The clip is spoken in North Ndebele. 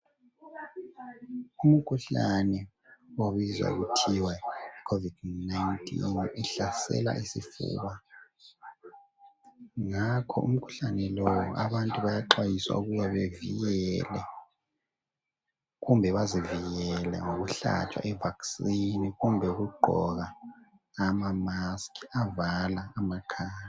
Umkhuhlane okubizwa kuthiwa yicovid 19 uhlasela umkhuhlane ngakho umkhuhlane lo abantu bayaxwayiswa ukuba bazivekele ngokuhlatshwa ivaccine loba bagqoke amamask avala amakhala.